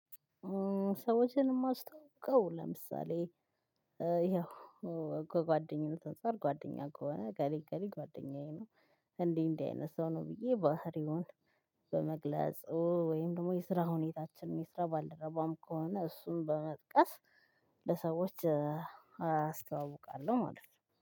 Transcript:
ሰዎችን የማስተዋውቀው ለምሳሌ፣ ያው ከጓደኝነት አንፃር ጓደኛ ከሆነ እከሌ እከሌ ጓደኛዬ ነው፣ እንዲ እንዲህ አይነት ሰው ነው ብዬ ባህሪውን በመግለፅ ወይም ደግሞ የስራ ሁኔታችንን የስራ ባልደረባም ከሆነ እሱን በመጥቀስ፣ ለሰዎች አስተዋውቃለሁ ማለት ነው።